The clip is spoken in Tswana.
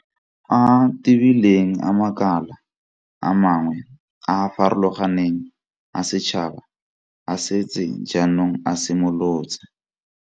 A a tebileng a makala a mangwe a a farologaneng a setšhaba a setse jaanong a simolotse.